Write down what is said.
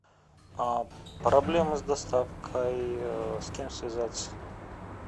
проблемы с доставкой с кем связаться